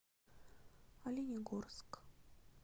оленегорск